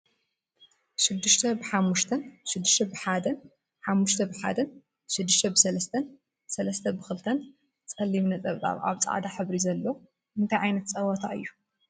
ሽድሽተ ብሓሙሽተን ሽዱሽተ ብሓደን ሓሙሽተ ብሓደን ሽድሽተ ብሰለስተን ሰለስተን ብክልተን ፀሊም ነጠብጣብ ኣብ ፃዕዳ ሕብሪ ዘሎ። እንታይ ዓይነት ፀወታ እዩ ?